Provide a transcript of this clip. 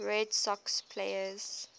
red sox players